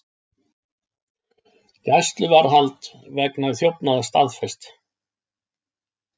Gæsluvarðhald vegna þjófnaða staðfest